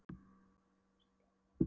Margrét var þar stödd hjá henni en